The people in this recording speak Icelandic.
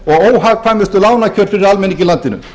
og óhagkvæmustu lánakjör fyrir almenning í landinu